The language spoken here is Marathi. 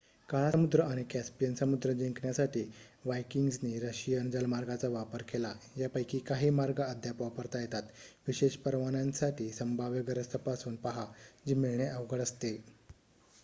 काळा समुद्र आणि कॅप्सियन समुद्र जिंकण्यासाठी वायकिंग्जनी रशियन जलमार्गांचा वापर केला यापैकी काही मार्ग अद्याप वापरता येतात विशेष परवान्यांसाठी संभाव्य गरज तपासून पाहा जी मिळणे अवघड असते